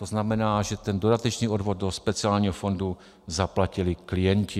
To znamená, že ten dodatečný odvod do speciálního fondu zaplatili klienti.